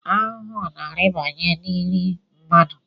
Ahụhụ na-arịbanye n’nri mmadụ